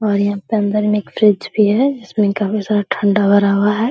और यहाँ पर अंदर में फ्रिज भी है जिसमें काफी सारा ठंडा भरा हुआ है।